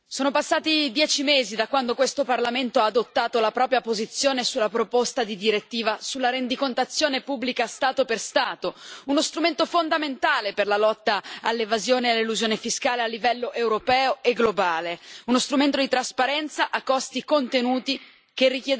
Signora Presidente, onorevoli colleghi, sono passati dieci mesi da quando questo Parlamento ha adottato la propria posizione sulla proposta di direttiva sulla rendicontazione pubblica Stato per Stato, uno strumento fondamentale per la lotta all'evasione e all'elusione fiscale a livello europeo e globale. Uno strumento di trasparenza a costi contenuti che